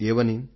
ఏమని